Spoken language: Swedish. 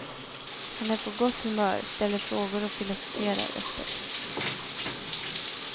Han är på gott humör, ställer frågor och filosoferar öppet.